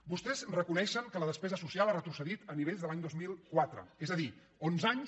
vostès reconeixen que la despe·sa social ha retrocedit a nivells de l’any dos mil quatre és a dir onze anys